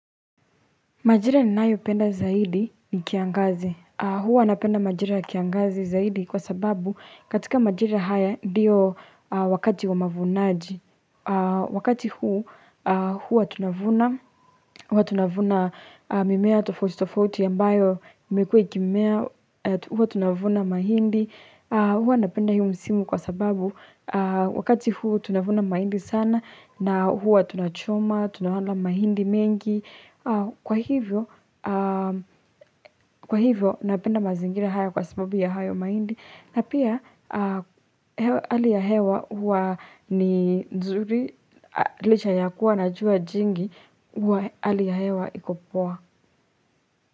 Majira ninayo penda zaidi ni kiangazi. Huwa napenda majira ya kiangazi zaidi kwa sababu katika majira haya ndiyo wakati wa mavunaji. Wakati huu huwa tunavuna. Huwa tunavuna mimea tofauti tofauti ambayo imekuwa ikimea huwa tunavuna mahindi. Huwa napenda hii msimu kwa sababu wakati huu tunavuna mahindi sana na huwa tunachoma, tunawala mahindi mengi. Kwa hivyo Kwa hivyo, napenda mazingira haya kwa sababu ya hayo maindi na pia, hali ya hewa huwa ni nzuri liche ya kuwa na jua jingi Hali ya hewa iko poa.